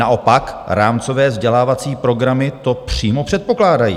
Naopak rámcové vzdělávací programy to přímo předpokládají.